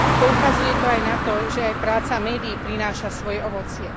Poukazuje to aj na to, že aj práca médií prináša svoje ovocie.